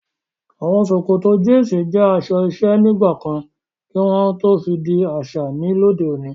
Awọn sòkòtò jínsí jẹ aṣọ iṣẹ̀ nigbakàn kí wọn fí dì aṣa ní lọdẹ̀ ọ̀nì